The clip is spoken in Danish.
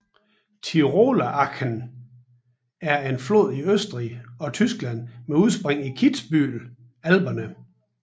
Tiroler Achen er en flod i Østrig og Tyskland med udspring i Kitzbühel Alperne